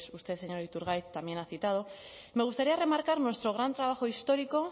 usted señor iturgaiz también ha citado me gustaría remarcar nuestro gran trabajo histórico